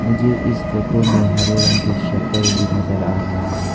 मुझे इस फोटो में हरे रंग की शटर भी नजर आ रहा है।